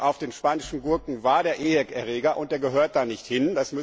Auf den spanischen Gurken war der EHEC Erreger und der gehört da nicht hin.